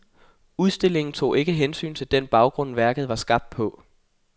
Udstillingen tog ikke hensyn til den baggrund, værket var skabt på.